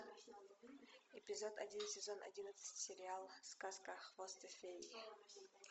эпизод один сезон одиннадцать сериал сказка о хвосте феи